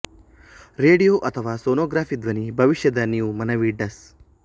radio ಅಥವಾ sonography ಧ್ವನಿ ಭವಿಷ್ಯದ ನೀವು ಮನವಿ ಡಸ್